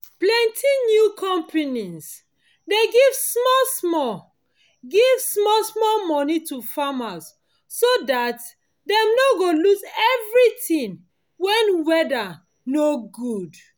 plenty new companies dey give small- small give small- small money to farmers so dat dem no go lose everything wen weather no good